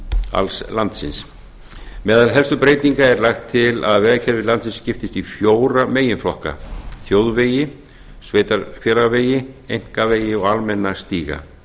alls landsins meðal helstu breytinga er lagt til að vegakerfi landsins skiptist í fjóra meginflokka þjóðvegi sveitarfélagavegi einkavegi og almenna stíga